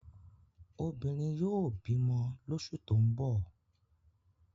Obìnrin yóò bímọ lóṣù tó ń bọ̀.